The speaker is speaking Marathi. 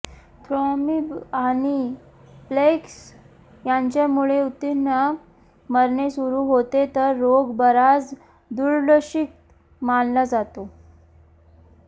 थ्रॉम्बि आणि प्लेक्स यांच्यामुळे ऊतींना मरणे सुरू होते तर रोग बराच दुर्लक्षित मानला जातो